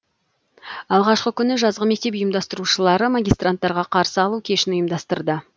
алғашқы күні жазғы мектеп ұйымдастырушылары магистранттарға қарсы алу кешін ұйымдастырды